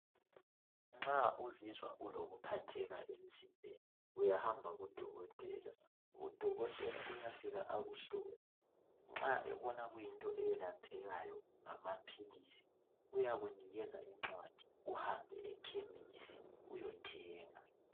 Nxa uzizwa ulokuphatheka emzimbeni uyahamba kudokothela. Udokotela uyafika akuhlole nxa ebona kuyinto elaphekayo ngamaphilisi uyakunikeza incwadi uhambe layo ekhemisi uyethenga.